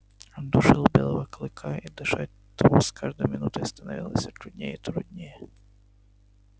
он душил белого клыка и дышать тому с каждой минутой становилось все труднее и труднее